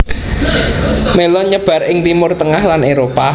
Mélon nyebar ing Timur tengah lan Éropah